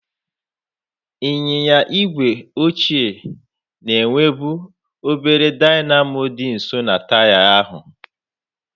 Ịnyịnya igwe ochie na-enwebu obere dynamo dị nso na taya ahụ.